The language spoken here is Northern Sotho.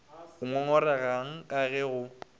o ngongoregang ka ge go